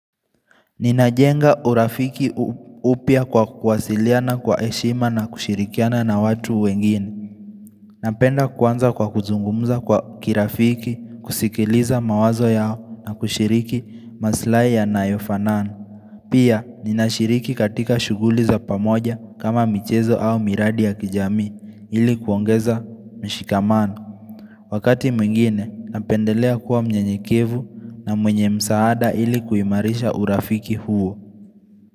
Ninajenga urafiki upya kwa kuwasiliana kwa heshima na kushirikiana na watu wengine. Napenda kuanza kwa kuzungumuza kwa kirafiki, kusikiliza mawazo yao na kushiriki maslahi yanayofanana Pia, ninashiriki katika shughuli za pamoja kama michezo au miradi ya kijamii ili kuongeza mshikamana. Wakati mwingine, napendelea kuwa mnyenyekevu na mwenye msaada ili kuimarisha urafiki huo.